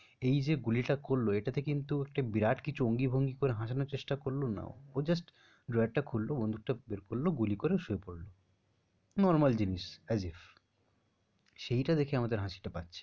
এই যে গুলিটা করল এটা কিন্তু একটা বিরাট কিছু অঙ্গি ভঙ্গি করে হসানোর চেষ্টা করল না। ও just drawer টা খুলল, বন্দুকটা বের করল, গুলি করে শুয়ে পড়ল। normal জিনিস, সেইটা দেখে আমাদের হাসিটা পাচ্ছে।